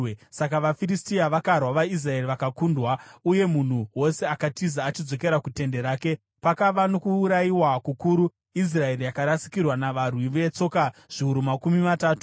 Saka vaFiristia vakarwa, vaIsraeri vakakundwa uye munhu wose akatiza achidzokera kutende rake. Pakava nokuurayiwa kukuru; Israeri yakarasikirwa navarwi vetsoka zviuru makumi matatu.